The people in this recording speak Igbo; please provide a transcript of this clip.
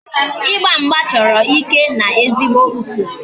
Igba mgba chọrọ ike na ezigbo usoro